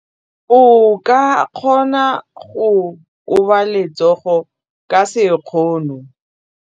O ka kgona go koba letsogo ka sekgono.